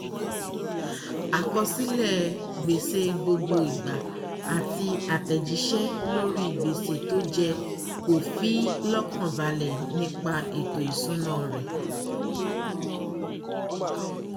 àkọsílẹ̀ gbèsè gbogbo ìgbà àtí àtẹ̀jísẹ́ lóri gbèsè tójẹ kò fíí lọ́kàn balẹ̀ nípa ètò ìsúná rẹ̀